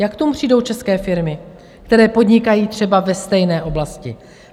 Jak k tomu přijdou české firmy, které podnikají třeba ve stejné oblasti?